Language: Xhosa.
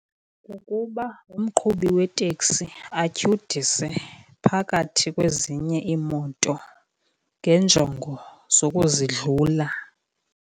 Kukuba umqhubi weteksi atyhudise phakathi kwezinye iimoto ngenjongo zokuzidlula.